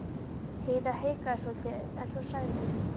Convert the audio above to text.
Heiða hikaði svolítið en svo sagði hún